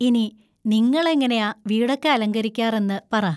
ഇനി നിങ്ങളെങ്ങനെയാ വീടൊക്കെ അലങ്കരിക്കാറെന്ന് പറ.